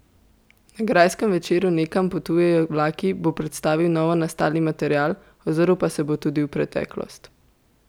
Na grajskem večeru Nekam potujejo vlaki bo predstavil novonastali material, ozrl pa se bo tudi v preteklost.